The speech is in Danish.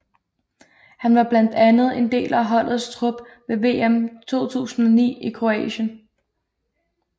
Han var blandt andet en del af holdets trup ved VM 2009 i Kroatien